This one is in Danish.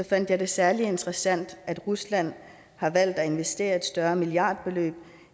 fandt jeg det særlig interessant at rusland har valgt at investere et større milliardbeløb